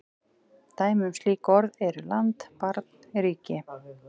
Dæmi um slík orð eru land, barn, ríki.